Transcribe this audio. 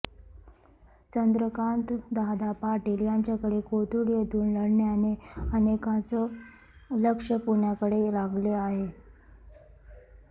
चंद्रकांत दादा पाटील यांच्या कोथरुड येथून लढण्याने अनेकांचे लक्ष पुण्याकडे लागले आहे